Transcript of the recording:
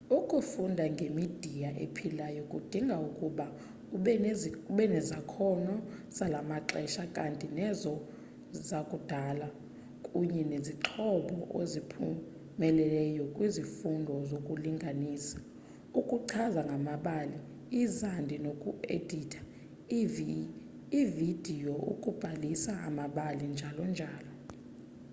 ukufunda ngemidiya ephilayo kudinga ukuba ubenezakhono zalamaxesha kanti nezo zakudala kunye nezixhobo oziphumelele kwizifundo zokulinganisa ukuchaza ngamabali izandi noku editha ividiyo ukubalisa amabali njalo njalo.